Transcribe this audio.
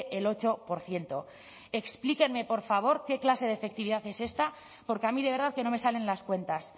el ocho por ciento explíqueme por favor qué clase de efectividad es esta porque a mí de verdad que no me salen las cuentas